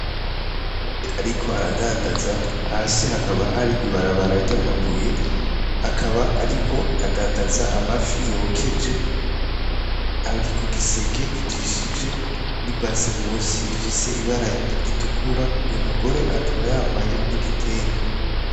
Uyu mugore, ariko aradandaza hasi hakaba hari ibarabara ry' amavuye akaba, ariko adandaza amafi yokeje ari ku giseke kijishije n'i base musi ifise ibara ritukura uyu mugore akaba yambaye n'igitenge.